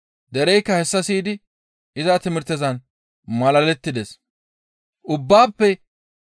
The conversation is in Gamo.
Derezikka hessa siyidi iza timirtezan malalettides.